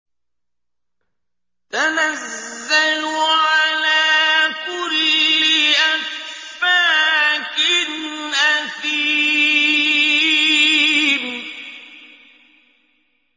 تَنَزَّلُ عَلَىٰ كُلِّ أَفَّاكٍ أَثِيمٍ